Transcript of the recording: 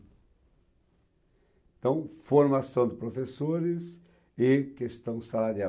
Então, formação de professores e questão salarial.